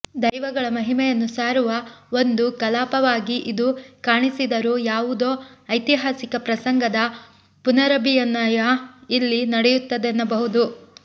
ದೈವಗಳ ಮಹಿಮೆಯನ್ನು ಸಾರುವ ಒಂದು ಕಲಾಪವಾಗಿ ಇದು ಕಾಣಿಸಿದರೂ ಯಾವುದೋ ಐತಿಹಾಸಿಕ ಪ್ರಸಂಗದ ಪುನರಭಿನಯ ಇಲ್ಲಿ ನಡೆಯುತ್ತದೆನ್ನಬಹುದು